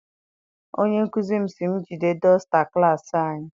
Onye nkụzi m si m jide dọsta klassi anyị.